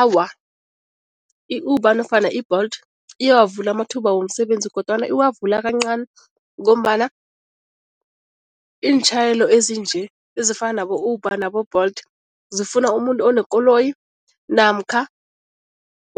Awa, i-Uber nofana i-Bolt iyawavula amathuba womsebenzi kodwana iwavula kancani ngombana iintjhayelo ezinje ezifana nabo-Uber nabo-Bolt zifuna umuntu onekoloyi namkha